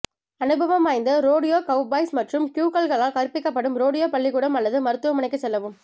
அனுபவம் வாய்ந்த rodeo cowboys மற்றும் க்யூக்ல்களால் கற்பிக்கப்படும் ரோடியோ பள்ளிக்கூடம் அல்லது மருத்துவமனைக்குச் செல்லவும்